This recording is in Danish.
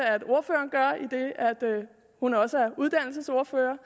ordføreren gør idet hun også er uddannelsesordfører